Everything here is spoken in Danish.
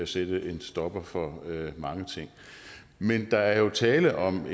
sætte en stopper for mange ting men der er jo tale om